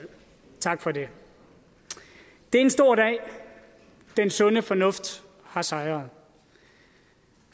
tak for det det er en stor dag den sunde fornuft har sejret